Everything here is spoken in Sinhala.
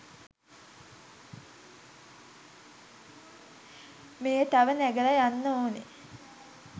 මෙය තව නෑගලා යන්න ඕනේ